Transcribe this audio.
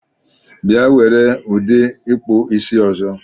Bia were udi ikpụ isi ọzọ!